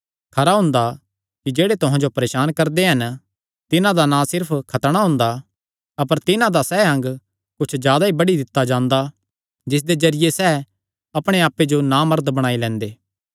खरा हुंदा कि जेह्ड़े तुहां जो परेसान करदे हन तिन्हां दा ना सिर्फ खतणा हुंदा अपर तिन्हां दा सैह़ अंग कुच्छ जादा ई बड्डी दित्ता जांदा जिसदे जरिये सैह़ अपणे आप्पे जो नामर्द बणाई लैंदे